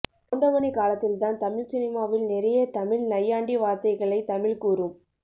கவுண்டமணி காலத்தில்தான் தமிழ் சினிமாவில் நிறைய தமிழ் நையாண்டி வார்த்தைகளை தமிழ் கூறும்